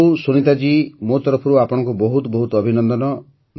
ହଉ ସୁନୀତା ଜୀ ମୋ ତରଫରୁ ଆପଣଙ୍କୁ ବହୁତ ବହୁତ ଅଭିନନ୍ଦନ